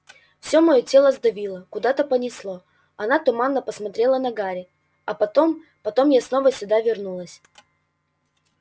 все моё тело сдавило куда-то понесло она туманно посмотрела на гарри а потом потом я снова сюда вернулась